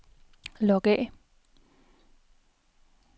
log af